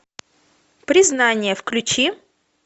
признание включи